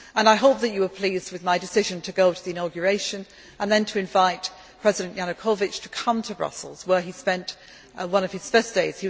I hope that you were pleased with my decision to go to the inauguration and then to invite President Yanukovich to come to Brussels where he spent one of his first days.